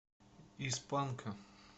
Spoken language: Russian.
из панка